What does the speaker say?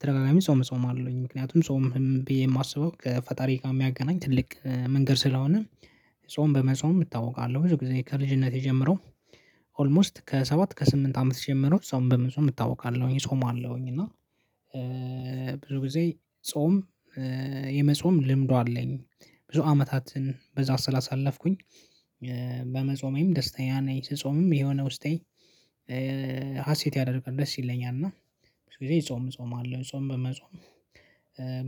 ተደጋጋሚ ጾም ጾማአለሁኝ ምክንያቱም ጾም ብዬ ማስበው ከፈጣሪ ጋ ሚያገናኝ ትልቅ መንገድ ስለሆነ። ጾም በመጾም እታወቃለሁ ብዙ ጊዜ ከልጅነቴ ጀምሮ። ኦልሞስት ከሰባት ከስምንት አመት ጀምሮ ጾም በመጾም እታውቃለሁኝ እጾማለሁኝ እና። ብዙ ጊዜ ጾም የመጾም ልምዱ አለኝ። ብዙ አመታትን በዛ ስላሳለፍኩኝ። በመጾሜም ደስተኛ ነኝ ስጾምም የሆነ ውስጤ ሀሴት ያደርጋል ደስ ይለኛል። እና ጾም እጾማለሁ ጾም በመጾም